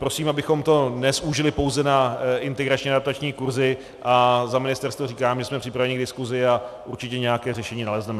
Prosím, abychom to nezúžili pouze na integrační a adaptační kurzy, a za ministerstvo říkám, že jsme připraveni k diskusi a určitě nějaké řešení nalezneme.